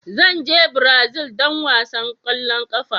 Zan je Brazil don wasan kwallon kafa.